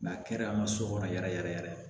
a kɛra a ma so kɔnɔ yɛrɛ yɛrɛ